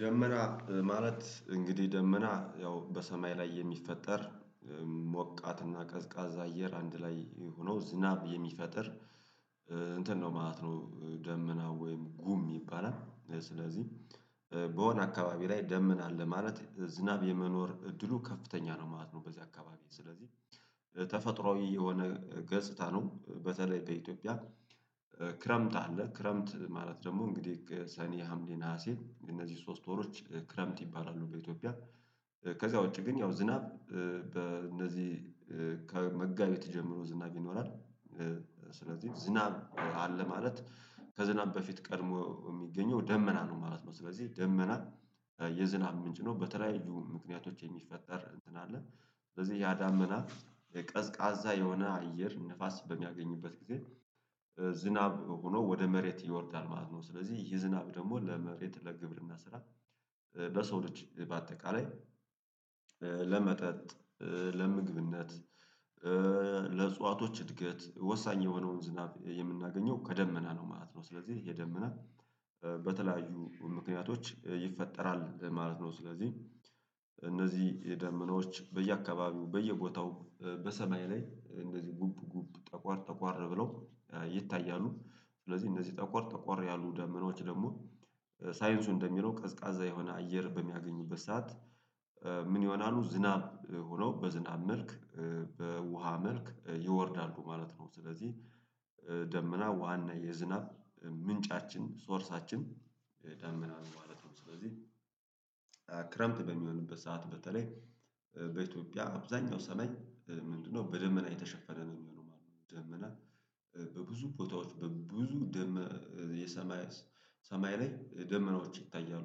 ደመና ማለት እንግዲህ ደመና ያው በሰማይ ላይ የሚፈጠር ሞቃትና እና ቀዝቃዛ አየር አንድ ላይ ሆኖ ዝናብ የሚፈጥር እንትን ነው ማለት ነው። ደመናው ወይም ጉም ይባላል ስለዚህ በሆነ አካባቢ ላይ ደመና አለ ማለት ዝናብ የመኖር እድሉ ከፍተኛ ነው ማለት ነው። በዚህ አካባቢ ስለዚህ ተፈጥሮአዊ የሆነ ገጽታ ነው። በተለይ በኢትዮጵያ ክረምት አለ ክረምት ማለት ደግሞ እንግዲህ ሰኔ ሀምሌ ነሀሴ እነዚህ ሶስት ወሮች ክረምት ይባላሉ። በኢትዮጵያ ከዛ ውጪ ግን ያው ዝናብ በእነዚህ ከመጋቢት ጀምሮ ዝናብ ይኖራል። ስለዚህ ዝናብ አለ ማለት ከዝናብ በፊት ቀድሞ የሚገኘው ደመና ነው ማለት ነው። ስለዚህ ደመና የዝናብ ምንጭ ነው። በተለያዩ ምክንያቶች የሚፈጠር እንትን አለ ስለዚህ ያዳመና ቀዝቃዛ የሆነ አየር ንፋስ በሚያገኝበት ጊዜ ዝናብ ሆኖ ወደ መሬት ይወርዳል ማለት ነው። ስለዚህ ይህ ዝናብ ደግሞ ለመሬት ለግብርና ስራ በሰው ልጅ በአጠቃላይ ለመጠጥ ለምግብነት ለእጽዋቶች እድገት ወሳኝ የሆነውን ዝናብ የምናገኘው ከደመና ነው ማለት ነው። ስለዚህ ይህ ደመና በተለያዩ ምክንያቶች ይፈጠራል ማለት ነው። ስለዚህ እነዚህ የደመናዎች በየአካባቢው በየቦታው በሰማይ ላይ እነዚህ ጉብ ጉብ ጠቆር ጠቆር ብለው ይታያሉ። ስለዚህ እነዚህ ጠቆር ተቆር ያሉ ዳመናዎች ደግሞ ሳይንሱ እንደሚለው ቀዝቃዛ የሆነ አየር በሚያገኝበት ሰዓት ምን ይሆናሉ ዝናብ ሆኖ በዝናብ መልክ በውሃ መልክ ይወርዳሉ ማለት ነው። ስለዚህ ደመና ውሃና የዝናብ ምንጫችን ሶርሳችን ዳመና ማለት ነው። ስለዚህ ክረምት በምሆንበት ሰዓት በተለይ በኢትዮጵያ አብዛኛው ሰማይ ምንድነው በደመና የተሸፈነ ነው የሚሆነው ማለት ነው። ደመና በብዙ ቦታዎች በብዙ ደመና የሰማይ ሰማይ ላይ ደመናዎች ይታያሉ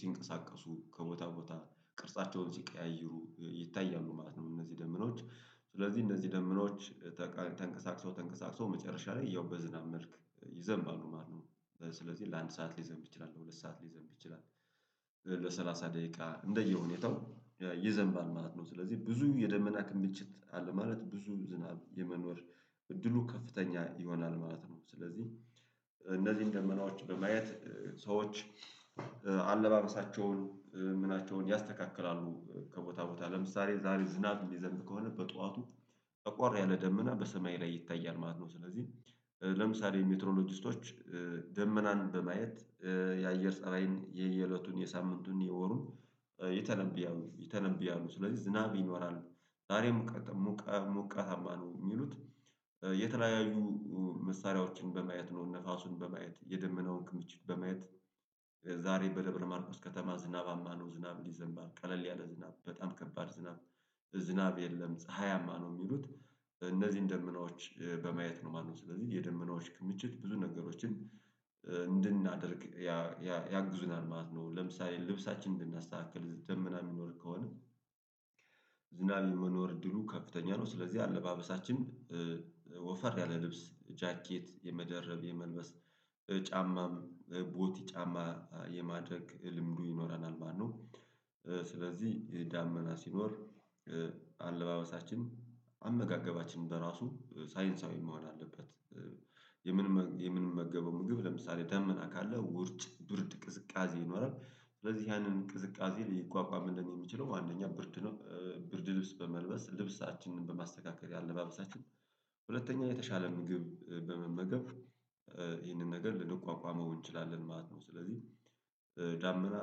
ሲንቀሳቀሱ ከቦታ ቦታ ቅርጻቸውን ሲቀያይሩ ይታያሉ ማለት ነው። እነዚህ ደመናዎች ስለዚህ እንደዚህ ደመኖች ተንቀሳቅሰው ተንቀሳቅሰው መጨረሻ ላይ ያው በዝናብ መልክ ይዘምባሉ ማለት ነው። ስለዚህ ለአንድ ሰዓት ልዘንብ ይችላል ለሁለት ሰዓት ልዘንብ ይችላል ለሰላሳ ደቂቃ እንደየ ሁኔታው ይዘምባል ማለት ነው። ስለዚህ ብዙ የደመና ክምችት አለ ማለት ብዙ ዝናብ የመኖር እድሉ ከፍተኛ ይሆናል ማለት ነው። ስለዚህ እነዚህን ደመናዎች በማየት ሰዎች አለባበሳቸውን ምናቸውን ያስተካክላሉ ከቦታ ቦታ ለምሳሌ ዛሬ ዝናብ የምዘንብ ከሆነ በጧቱ ጠቆር ያለ ደመና በሰማይ ላይ ይታያል ማለት ነው። ስለዚህ ለምሳሌ ሜትሮሎጂስቶች ደመናን በማየት የአየር ፀባይን የየእለቱን የሳምንቱን የወሩን ይተነብያሉ ይተነብያው ስለዚህ ዝናብ ይኖራል። ዛሬ ሙቀ ሙቀታማ ነው የሚሉት የተለያዩ መሳሪያዎችን በማየት ነው ንፋሱን በማየት የደመናውን ክምችት በማየት ዛሬ በደብረ ማርቆስ ከተማ ዝናባማ ነው ዝናብ ይዘምባል ቀለል ያለ ዝናብ በጣም ከባድ ዝናብ ዝናብ የለም ፀሀያማ ነው የሚሉት እነዚህን ደመናዎች በማየት ነው ማለት ነው። ስለዚህ የደመናዎች ክምችት ብዙ ነገሮችን እንድናደርግ ያግዙናል ማለት ነው። ለምሳሌ ልብሳችንን እንድናስተካክል ደመና የሚኖር ከሆነ ዝናብ የመኖር እድሉ ከፍተኛ ነው። ስለዚህ አለባበሳችን ወፈር ያለ ልብስ ጃኬት የመደረብ የመልበስ ጫማም ቦቲ ጫማ የማድረግ ልምዱ ይኖረናል ማለት ነው። ስለዚህ ይህ ዳመና ስኖር አለባበሳችን አመጋገባችንን በራሱ ሳይንሳዊ መሆን አለበት። የምንመገበው ምግብ ለምሳሌ ደመና ካለ ውርጭ ብርድ ቅዝቃዜ ይኖራል ስለዚህ ያንን ቅዝቃዜ ልቋቋምልን የምችለው አንደኛ ብርድ ነው ብርድ ልብስ በመልበስ ልብሳችንን በማስተካከል የአለባበሳችን ሁለተኛ የተሻለ ምግብ በመመገብ ይህንን ነገር ልንቋቋመው እንችላለን ማለት ነው። ስለዚህ ዳመና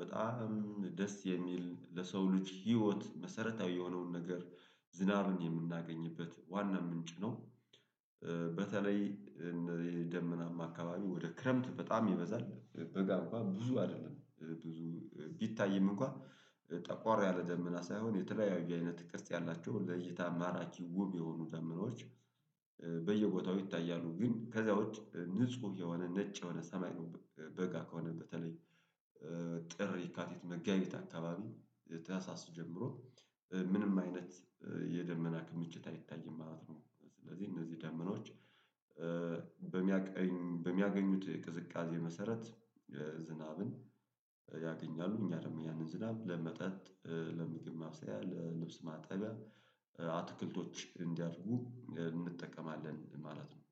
በጣም ደስ የሚል ለሰው ልጅ ህይወት መሰረታዊ የሆነውን ነገር ዝናብን የምናገኝበት ዋና ምንጭ ነው። በተለይ የደመናማ አካባቢ ወደ ክረምት በጣም ይበዛል በጋ እንኳን ብዙ አይደለም ብዙ ቢታይም እንኳን ጠቋር ያለ ደመና ሳይሆን የተለያዩ አይነት ቅርጽ ያላቸው ለእይታ ማራኪ ዉብ የሆኑ ደመናዎች በየቦታው ይታያሉ። ግን ከዛ ውጪ ንጹህ የሆነ ነጭ የሆነ ሰማይ ነው። በጋ ከሆነ በተለይ ጥር የካቲት መጋቢት አካባቢ ተያሳስ ጀምሮ ምንም አይነት የደመና ክምችት አይታይም ማለት ነው። ስለዚህ እነዚህ ደመናዎች በሚያገኙት ቅዝቃዜ መሰረት ዝናብን ያገኛሉ። እኛ ደግሞ ያንን ዝናብ ለመጠጥ ለምግብ ማብስያ ለልብስ ማጠቢያ አትክልቶች እንዲያድጉ እንጠቀማለን ማለት ነው